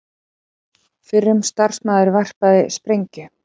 Fyrrum starfsmaður varpaði sprengju